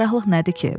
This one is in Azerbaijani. Cərraqlıq nədir ki?